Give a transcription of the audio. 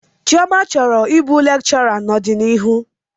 Chioma chọrọ ịbụ lekchọra n'ọdiniru.